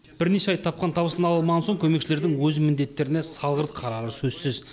бірнеше ай тапқан табысын ала алмаған соң көмекшілердің өз міндеттеріне салғырт қарары сөзсіз